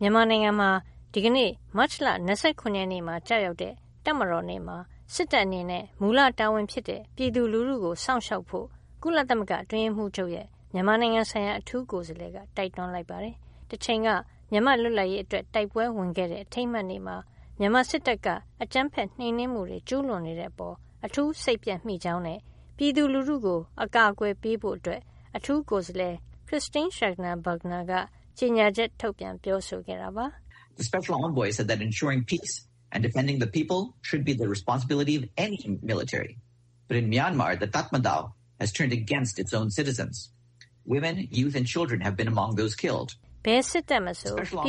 မြန်မာနိုင်ငံမှာ ဒီကနေ့ မတ်လ ၂၇ ရက်နေ့ ကျရောက်တဲ့ တပ်မတော်နေ့မှာ စစ်တပ် အနေနဲ့ မူလတာဝန်ဖြစ်တဲ့ ပြည်သူလူထုကို စောင့်ရှောက်ဖို့ ကုလသမဂ္ဂအတွင်းရေးမှုးချုပ်ရဲ့ မြန်မာနိုင်ငံဆိုင်ရာ အထူးကိုယ်စားလှယ်က တိုက်တွန်းလိုက်ပါတယ်။ တချိန်က မြန်မာ့လွတ်လပ်ရေး အတွက် တိုက်ပွဲဝင်ခဲ့တဲ့ အထိမ်းအမှတ်နေ့မှာ မြန်မာစစ်တပ်က အကြမ်းဖက် နှိမ်နင်းမှုတွေ ကျုးလွန်နေတဲ့အပေါ် အထူးစိတ်ပျက်မိကြောင်းနဲ့ ပြည်သူလူထုကို အကာအကွယ်ပေးဖို့ အထူးကိုယ်စားလှယ် Christine Schraner Burgener က ကြေညာချက် ထုတ်ပြန် ပြောဆိုခဲ့တာပါ။ "ဘယ်စစ်တပ်မဆို ပ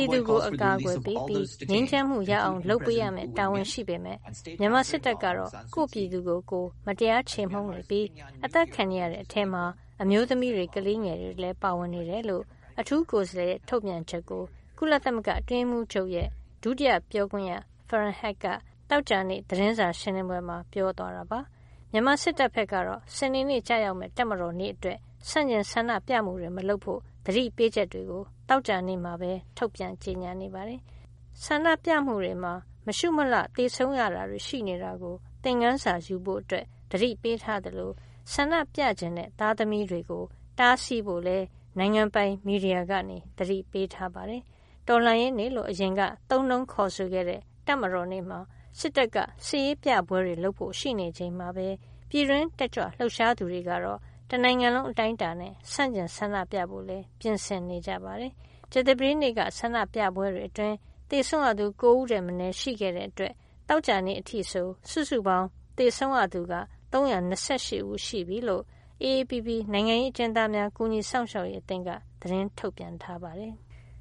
ြည်သူကို အကာအကွယ်ပေးပြီး၊ ငြိမ်းချမ်းမှုရအောင် လုပ်ပေးရမယ့် တာဝန်ရှိပေမယ့် မြန်မာစစ်တပ်ကတော့ ကိုယ့်ပြည်သူကို ကိုယ်မတရားခြေမှုန်းနေပြီး အသတ်ခံနေရတဲ့ အထဲမှာ အမျိုးသမီးတွေ၊ ကလေးငယ်တွေလည်း ပါဝင်နေပါတယ်။" လို့ အထူးကိုယ်စားလှယ်ရဲ့ ထုတ်ပြန်ချက်ကို ကုလသမဂ္ဂ အတွင်းရေးမှူးချုပ်ရဲ့ ဒုတိယပြောခွင့်ရ Farhan Haq က သောကြာနေ့ သတင်းစာ ရှင်းလင်းပွဲမှာ ပြောဆိုသွားတာပါ။ မြန်မာစစ်တပ်ဘက်ကတော့ စနေနေ့ ကျရောက်မယ့် တပ်မတော်နေ့ အတွက် ဆန့်ကျင် ဆန္ဒပြမှုတွေ မလုပ်ဖို့ သတိပေးချက်တွေ သောကြာနေ့မှာ ထုတ်ပြန် ကြေညာနေပါတယ်။ ဆန္ဒပြမှုတွေမှာ မရှုမလှ သေဆုံးရတာတွေ ရှိနေတာကို သင်္ခန်းစာယူဖို့ သတိပေးထားသလို ဆန္ဒပြချင်တဲ့ သားသမီးတွေကို တားဆီးဖို့လည်း နိုင်ငံပိုင်မီဒီယာကနေ သတိပေးထားပါတယ်။ တော်လှန်ရေးနေ့လို့ အရင်က သုံးနှုန်းခေါ်ဆိုခဲ့တဲ့ တပ်မတော်နေ့မှာ စစ်တပ်က စစ်ရေးပြပွဲတွေ လုပ်ဖို့ ရှိနေချိန်မှာပဲ ပြည်တွင်းတက်ကြွလှုပ်ရှားသူတွေကတော့ တနိုင်ငံလုံး အတိုင်းအတာနဲ့ ဆန့်ကျင်ဆန္ဒပြဖို့လည်း ပြင်ဆင်နေကြပါတယ်။ ကြာသပတေးနေ့က ဆန္ဒပြပွဲတွေ အတွင်း သေဆုံးရသူ ၉ ဦးထက်မနည်း ရှိခဲ့တဲ့ အတွက် သောကြာနေ့ အထိဆို စုစုပေါင်း သေဆုံးရသူက ၃၂၈ ဦး ရှိပြီဖြစ်ကြောင်း AAPP နိုင်ငံရေး အကျဉ်းသားများ ကူညီစောင့်ရှောက်ရေး အသင်းက သတင်းထုတ်ပြန်ထားပါတယ်။